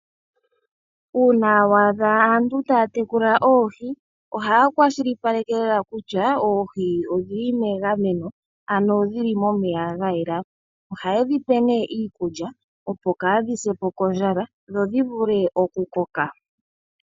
Uuna waadha aantu taya tekula oohi, ohaya kwashilipake lela kutya oohi odhili megameno, ano dhili momeya ga yela. Ohaye dhipe nee iikulya opo kaadhi se pokondjala, dho dhi vule okukoka.